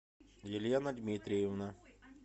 елена дмитриевна